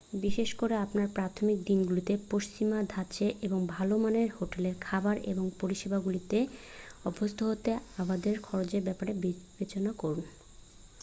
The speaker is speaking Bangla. বিশেষ করে আপনার প্রাথমিক দিনগুলিতে পশ্চিমা ধাঁচের এবং ভালো মানের হোটেল খাবার এবং পরিষেবাগুলিকে অভ্যস্ত হতে অবাধে খরচের ব্যাপারে বিবেচনা করুন